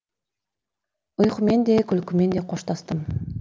ұйқымен де күлкімен де қоштастым